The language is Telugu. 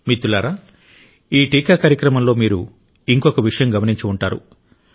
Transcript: మిత్రులారా ఈ టీకా కార్యక్రమంలో మీరు ఇంకొక విషయం గమనించి ఉంటారు